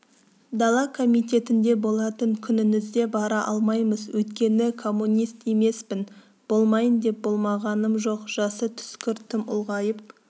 дала комитетінде болатын күніңізде бара алмаймыз өйткені коммунист емеспін болмайын деп болмағаным жоқ жасы түскір тым ұлғайып